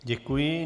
Děkuji.